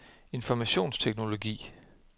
informationsteknologi